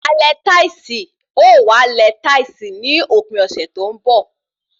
Alẹ táìsì ó wàá lẹ táìsì ní òpin ọ̀sẹ̀ tó ń bọ̀